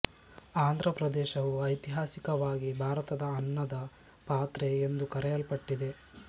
ಆಂಧ್ರ ಪ್ರದೇಶವು ಐತಿಹಾಸಿಕವಾಗಿ ಭಾರತದ ಅನ್ನದ ಪಾತ್ರೆ ಎಂದು ಕರೆಯಲ್ಪಟ್ಟಿದೆ